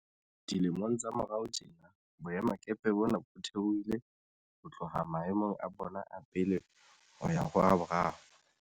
Dilemong tsa morao tjena, boemakepe bona bo theohile ho tloha maemong a bona a pele ho ya ho a boraro.